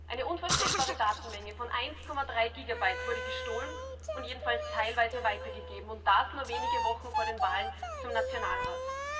Eine unvorstellbare Datenmenge von 1,3 Gigabyte wurde gestohlen und jedenfalls teilweise weitergegeben und das nur wenige Wochen vor den Wahlen zum Nationalrat.